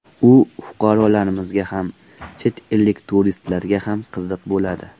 U fuqarolarimizga ham, chet ellik turistlarga ham qiziq bo‘ladi.